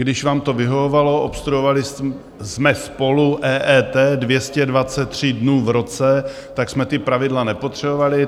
Když vám to vyhovovalo, obstruovali jsme spolu EET 223 dnů v roce, tak jsme ta pravidla nepotřebovali.